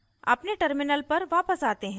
अपने terminal पर वापस आते हैं